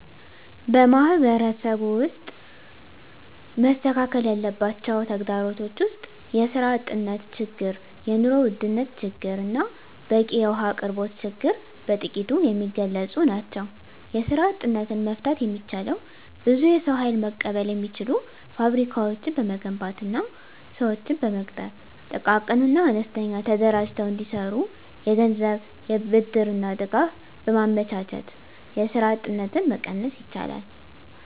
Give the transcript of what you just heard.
በማህበረሰቡ ውስጥ መስተካከል ያለባቸው ተግዳሮቶች ውስጥ የስራ አጥነት ችግር የኑሮ ውድነት ችግርና በቂ የውሀ አቅርቦት ችግር በጥቂቱ የሚገለፁ ናቸው። የስራ አጥነትን መፍታት የሚቻለው ብዙ የሰው ሀይል መቀበል የሚችሉ ፋብሪካዎችን በመገንባትና ስዎችን በመቅጠር ጥቃቅንና አነስተኛ ተደራጅተው እንዲሰሩ የገንዘብ ብድርና ድጋፍ በማመቻቸት የስራ አጥነትን መቀነስ ይቻላል።